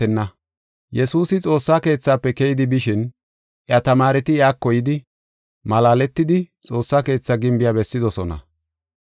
Yesuusi Xoossa Keethafe keyidi bishin, iya tamaareti iyako yidi, malaaletidi Xoossa Keetha gimbiya bessidosona.